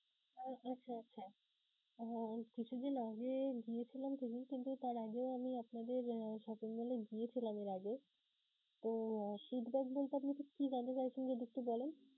ওহ আচ্ছা আচ্ছা, আহ কিছুদিন আগে গিয়েছিলাম তার আগেও আমি আপনাদের shopping mall এ গিয়েছিলাম এর আগে. তো feedback বলতে আপনি কি জানতে চাইছেন যদি একটু বলেন?